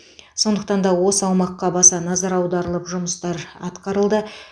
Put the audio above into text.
сондықтанда осы аумаққа баса назар аударылып жұмыстар атқарылды